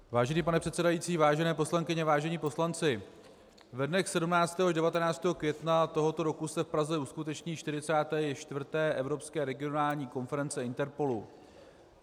Vážený pane předsedající, vážené poslankyně, vážení poslanci, ve dnech 17. až 19. května tohoto roku se v Praze uskuteční 44. Evropská regionální konference INTERPOLu.